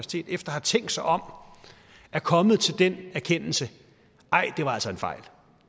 have tænkt sig om er kommet til den erkendelse at